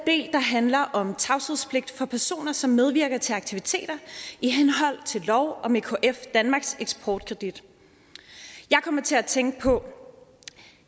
handler om tavshedspligt for personer som medvirker til aktiviteter i henhold til lov om ekf danmarks eksportkredit jeg kommer til at tænke på